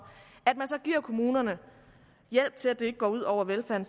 så giver kommunerne hjælp til at det ikke går ud over velfærden